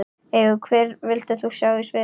Engu Hvern vildir þú sjá á sviði?